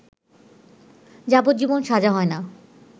যাবজ্জীবন সাজা হয় না